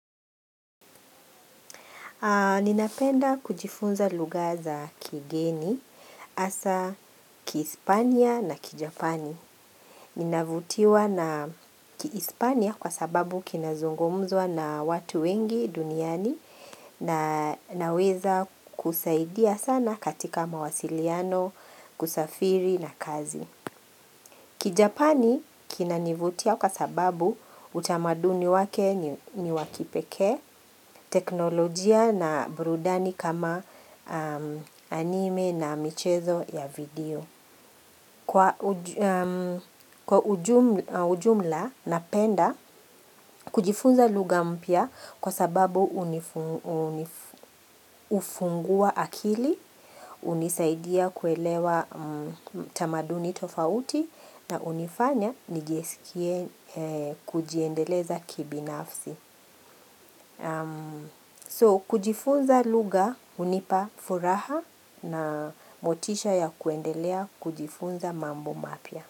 Ninapenda kujifunza lugha za kigeni, hasa kispania na kijapani. Ninavutiwa na kispania kwa sababu kinazungumzwa na watu wengi duniani na naweza kusaidia sana katika mawasiliano, kusafiri na kazi. Kijapani kinanivutia kwa sababu utamaduni wake ni wa kipekee, teknolojia na burudani kama anime na michezo ya video. Kwa ujumla napenda, kujifunza lugha mpya kwa sababu hunifu fungua akili, hunisaidia kuelewa tamaduni tofauti na hunifanya nijisikie kujiendeleza kibinafsi. So, kujifunza lugha hunipa furaha na motisha ya kuendelea kujifunza mambo mapya.